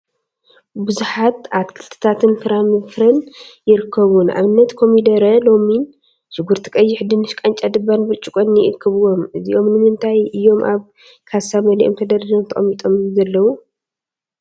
ቡዙሓት አትክልቲታትን ፍራፍረን ይርከቡ፡፡ ንአብነት ኮሚደረ፣ ሎሚን፣ ሽጉርቲ ቀይሕ፣ ድንሽ፣ ቃጫ፣ ድባን ብርጭቅን ይከቡዎም፡፡ እዚኦም ንምንታይ እዮም አብ ካሳ መሊኦም ተደርዲሮም ተቀሚጦም ዘለው?